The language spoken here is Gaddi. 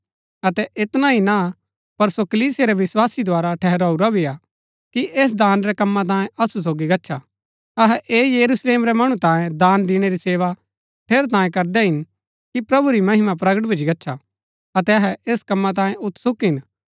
अतै ऐतना ही ना पर सो कलीसिया रै विस्वासी द्धारा ठहराऊरा भी हा कि ऐस दान रै कम्मा तांयें असु सोगी गच्छा अहै ऐह यरूशलेम रै मणु तांयै दान दिणै री सेवा ठेरैतांये करदै हिन कि प्रभु री महिमा प्रगट भूच्ची गच्छा अतै अहै ऐस कमा तांये उत्सुक हिन